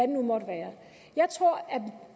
nu måtte være jeg tror at